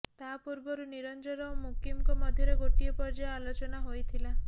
ତା ପୂର୍ବରୁ ନିରଞ୍ଜନ ଓ ମୁକିମଙ୍କ ମଧ୍ୟରେ ଗୋଟିଏ ପର୍ଯ୍ୟାୟ ଆଲୋଚନା ହୋଇଥିଲା